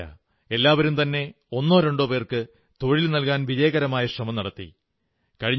ഇത്രമാത്രമല്ല എല്ലാവരുംതന്നെ ഒന്നോ രണ്ടോ പേർക്ക് തൊഴിൽ നല്കാൻ വിജയകരമായ ശ്രമം നടത്തി